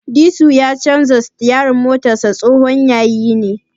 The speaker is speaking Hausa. Disu ya ce sitiyarin motarsa tsohon yayi ne.